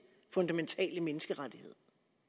fundamentale menneskerettighed